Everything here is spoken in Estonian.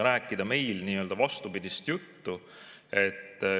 Rääkida nii-öelda vastupidist juttu ...